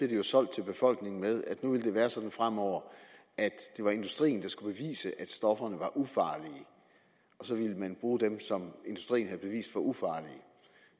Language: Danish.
det jo solgt til befolkningen med at nu ville være sådan fremover at det var industrien der skulle bevise at stofferne var ufarlige og så ville man bruge dem som industrien havde bevist var ufarlige